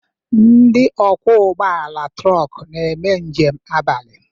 Ndị okwo ụgbọala trok n'eme njem abalị